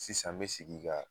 Sisan an bi sigi ka